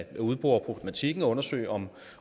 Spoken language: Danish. at udbore problematikken og undersøge om